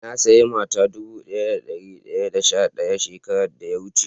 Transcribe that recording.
Na siya mata dubu daya da dari daya da sha daya shekaran da ya wuce.